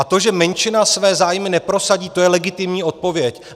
A to, že menšina své zájmy neprosadí, to je legitimní odpověď.